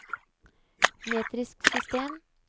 metrisk system